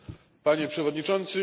Panie Przewodniczący!